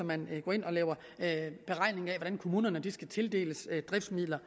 man går ind og lave lave beregninger af hvordan kommunerne skal tildeles driftsmidler